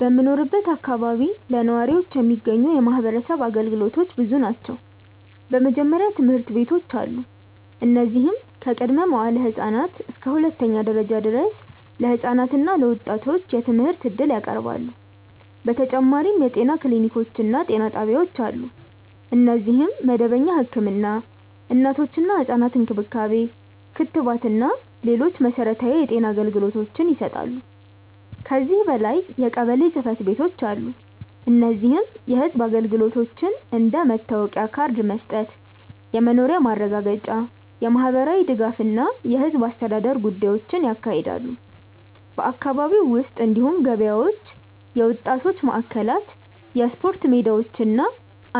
በምኖርበት አካባቢ ለነዋሪዎች የሚገኙ የማህበረሰብ አገልግሎቶች ብዙ ናቸው። በመጀመሪያ ትምህርት ቤቶች አሉ፣ እነዚህም ከቅድመ-መዋዕለ ህፃናት እስከ ሁለተኛ ደረጃ ድረስ ለህፃናት እና ለወጣቶች የትምህርት እድል ያቀርባሉ። በተጨማሪም የጤና ክሊኒኮች እና ጤና ጣቢያዎች አሉ፣ እነዚህም መደበኛ ህክምና፣ እናቶችና ህፃናት እንክብካቤ፣ ክትባት እና ሌሎች መሠረታዊ የጤና አገልግሎቶችን ይሰጣሉ። ከዚህ በላይ የቀበሌ ጽ/ቤቶች አሉ፣ እነዚህም የህዝብ አገልግሎቶችን እንደ መታወቂያ ካርድ መስጠት፣ የመኖሪያ ማረጋገጫ፣ የማህበራዊ ድጋፍ እና የህዝብ አስተዳደር ጉዳዮችን ያካሂዳሉ። በአካባቢው ውስጥ እንዲሁም ገበያዎች፣ የወጣቶች ማዕከላት፣ የስፖርት ሜዳዎች እና